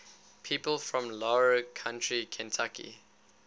people from larue county kentucky